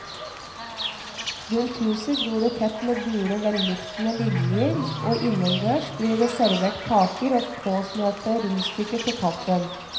Rundt huset gror det tett med gule velluktende liljer og innendørs blir det servert kaker og påsmurte rundstykker til kaffen.